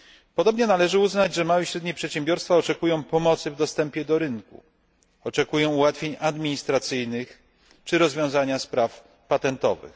Podobnie należy uznać, że małe i średnie przedsiębiorstwa oczekują pomocy w dostępie do rynku, oczekują ułatwień administracyjnych czy rozwiązania spraw patentowych.